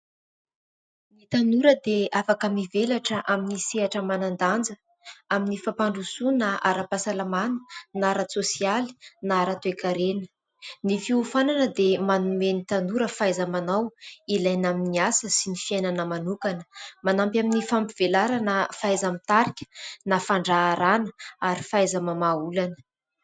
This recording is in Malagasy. Tanora dia afaka mivelatra amin'ny sehatra manan-danja amin'ny fampandrosoana ara-pahasalamana na ara-tsosialy na ara-toekarena. Ny fiofanana dia manome ny tanora fahaiza-manao ilaina amin'ny asa sy ny fiainana manokana, manampy amin'ny fampivelarana fahaiza-mitarika na fandraharahana ary fahaiza-mamaha olana.